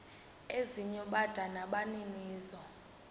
ezinye bada nabaninizo